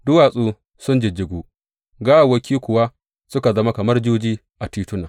Duwatsu sun jijjigu, gawawwaki kuwa suka zama kamar juji a tituna.